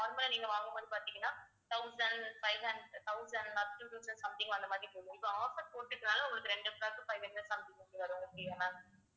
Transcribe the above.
normal ஆ நீங்க வாங்கும் போது பாத்தீங்கன்னா thousand five hund~ thousand upto two thousand something அந்த மாதிரி போகும் இப்ப offer போட்டிருக்கறதுனால உங்களுக்கு ரெண்டு frock five hundred something வரும் ma'am